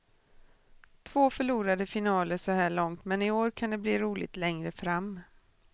Två förlorade finaler så här långt men i år kan det bli roligt längre fram.